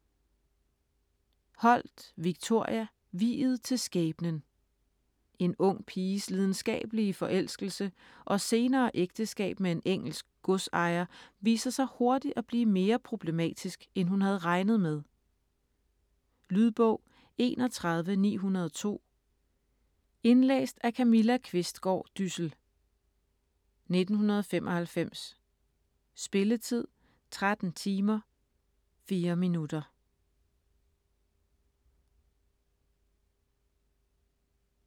Holt, Victoria: Viet til skæbnen En ung piges lidenskabelige forelskelse og senere ægteskab med en engelsk godsejer viser sig hurtigt at blive mere problematisk, end hun havde regnet med. Lydbog 31902 Indlæst af Camilla Qvistgaard Dyssel, 1995. Spilletid: 13 timer, 4 minutter.